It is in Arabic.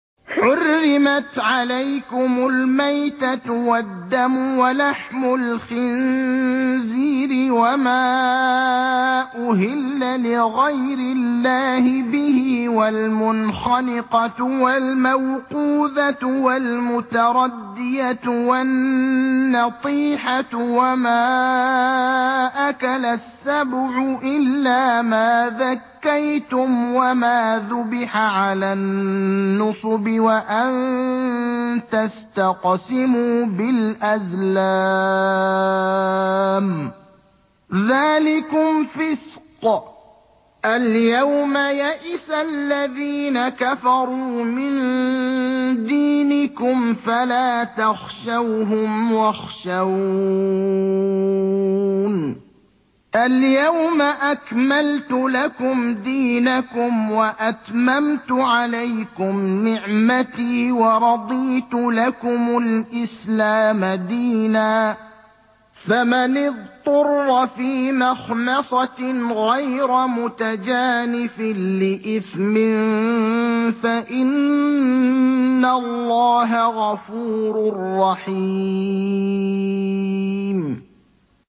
حُرِّمَتْ عَلَيْكُمُ الْمَيْتَةُ وَالدَّمُ وَلَحْمُ الْخِنزِيرِ وَمَا أُهِلَّ لِغَيْرِ اللَّهِ بِهِ وَالْمُنْخَنِقَةُ وَالْمَوْقُوذَةُ وَالْمُتَرَدِّيَةُ وَالنَّطِيحَةُ وَمَا أَكَلَ السَّبُعُ إِلَّا مَا ذَكَّيْتُمْ وَمَا ذُبِحَ عَلَى النُّصُبِ وَأَن تَسْتَقْسِمُوا بِالْأَزْلَامِ ۚ ذَٰلِكُمْ فِسْقٌ ۗ الْيَوْمَ يَئِسَ الَّذِينَ كَفَرُوا مِن دِينِكُمْ فَلَا تَخْشَوْهُمْ وَاخْشَوْنِ ۚ الْيَوْمَ أَكْمَلْتُ لَكُمْ دِينَكُمْ وَأَتْمَمْتُ عَلَيْكُمْ نِعْمَتِي وَرَضِيتُ لَكُمُ الْإِسْلَامَ دِينًا ۚ فَمَنِ اضْطُرَّ فِي مَخْمَصَةٍ غَيْرَ مُتَجَانِفٍ لِّإِثْمٍ ۙ فَإِنَّ اللَّهَ غَفُورٌ رَّحِيمٌ